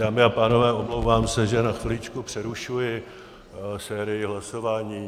Dámy a pánové, omlouvám se, že na chviličku přerušuji sérii hlasování.